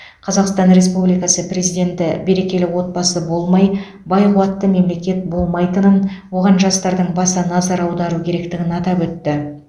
қазақстан республикасы президенті берекелі отбасы болмай бай қуатты мемлекет болмайтынын оған жастардың баса назар аудару керектігін атап өтті